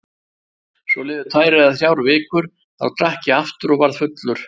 Svo liðu tvær eða þrjár vikur, þá drakk ég aftur og varð fullur.